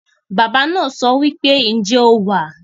Baba naa sowipe, "Nje o wa?"